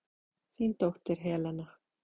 Þín dóttir, Helena.